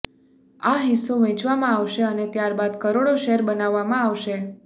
આ હિસ્સો વહેંચવામાં આવશે અને ત્યારબાદ કરોડો શેર બનાવવામાં આવશે